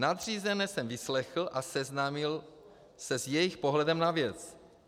Nadřízené jsem vyslechl a seznámil se s jejich pohledem na věc.